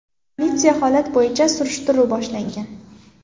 Politsiya holat bo‘yicha surishtiruv boshlagan.